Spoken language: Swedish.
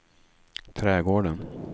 trädgården